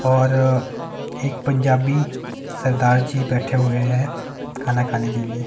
और एक पंजाबी सरदार जी बैठे हुए हैं खाना खाने के लिए--